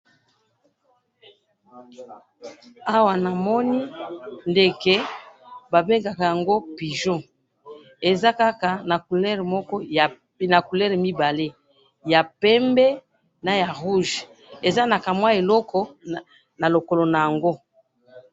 Awa namoni ndeke ba bengaka yango pigeon, eza kaka na couleur mibale, ya pembe na ya rouge, eza naka mwa eloko na lokolo na yango